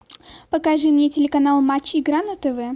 покажи мне телеканал матч игра на тв